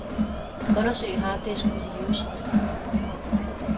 Undersøg harddisk for virus.